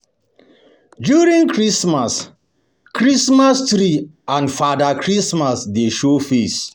During christmas, Christmas tree and fada Christmas dey show face